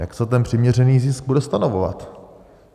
Jak se ten přiměřený zisk bude stanovovat?